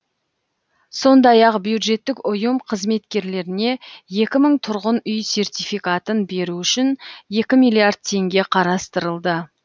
сондай ақ бюджеттік ұйым қызметкерлеріне екі мың тұрғын үй сертификатын беру үшін екі миллиард теңге қарастырылды